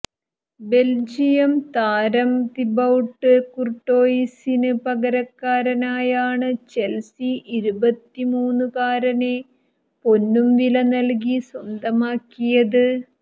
Belgium താരം Thibaut കുര്ട്ടോയിസിന് പകരക്കാരനായാണ് ചെല്സി ഇരുപത്തുമൂന്നുകാരനെ പൊന്നുംവില നല്കി സ്വന്തമാക്കിയത്